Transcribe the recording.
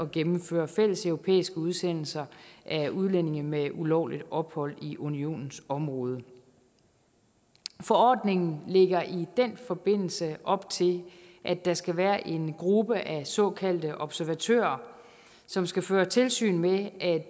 gennemføre fælleseuropæiske udsendelser af udlændinge med ulovligt ophold i unionens område forordningen lægger i den forbindelse op til at der skal være en gruppe af såkaldte observatører som skal føre tilsyn med at